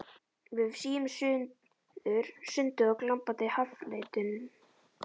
Við svífum suður sundið á glampandi haffletinum.